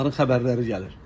Onların xəbərləri gəlir.